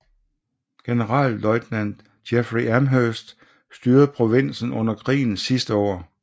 Generalløjtnant Jeffrey Amherst styrede provinsen under krigens sidste år